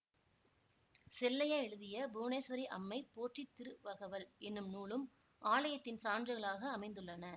செல்லையா எழுதிய புவனேஸ்வரி அம்மை போற்றித்திருவகவல் எனும் நூலும் ஆலயத்தின் சான்றுகளாக அமைந்துள்ளன